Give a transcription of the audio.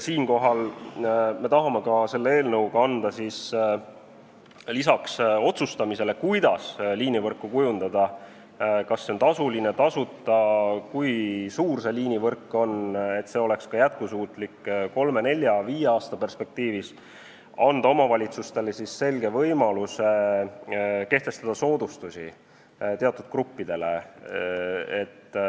Siinkohal me tahame selle eelnõuga anda peale otsustamise, kuidas liinivõrku kujundada – kas see on tasuline või tasuta, kui suur see liinivõrk on, et see oleks ka jätkusuutlik kolme-nelja-viie aasta perspektiivis –, omavalitsustele selge võimaluse kehtestada soodustusi teatud gruppidele.